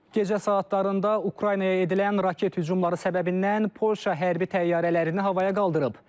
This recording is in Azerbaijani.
Gecə saatlarında Ukraynaya edilən raket hücumları səbəbindən Polşa hərbi təyyarələrini havaya qaldırıb.